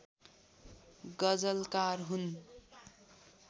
गजलकार हुन्